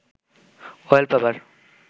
wallpaper